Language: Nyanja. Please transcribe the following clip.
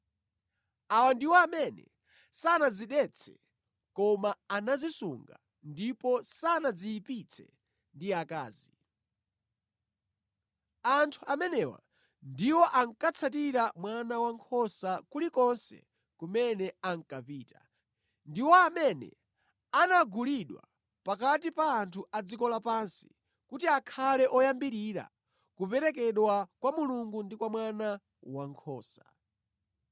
Awa ndiwo amene sanadzidetse koma anadzisunga ndipo sanadziyipitse ndi akazi. Anthu amenewa ndiwo ankatsatira Mwana Wankhosa kulikonse kumene ankapita. Ndiwo amene anagulidwa pakati pa anthu a dziko lapansi kuti akhale oyambirira kuperekedwa kwa Mulungu ndi kwa Mwana Wankhosa.